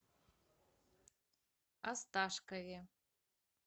осташкове